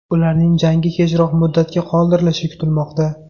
Ularning jangi kechroq muddatga qoldirilishi kutilmoqda.